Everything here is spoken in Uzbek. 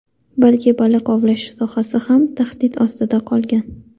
balki baliq ovlash sohasi ham tahdid ostida qolgan.